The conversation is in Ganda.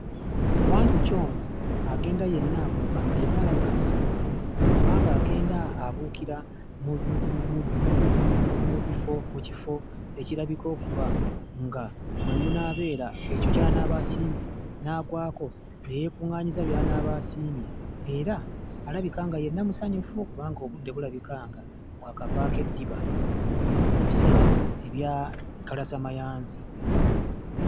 Wanjuki ono agenda yenna abuuka nga yenna alabika musanyufu kubanga agenda abuukira mu bi mu bifo mu kifo ekirabika okuba nga mwe munaabeera ekyo ky'anaaba asiimye n'agwako, ne yeekuŋŋaanyiriza by'anaaba asiimye. Era alabika nga yenna musanyufu kubanga obudde bulabika nga bwakavaako eddiba mu biseera bya kalasamayanzi.